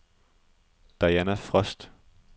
Diana Frost